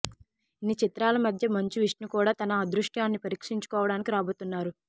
ఇన్ని చిత్రాల మధ్య మంచు విష్ణు కూడా తన అదృష్టాన్ని పరీక్షించుకోవడానికి రాబోతున్నాడు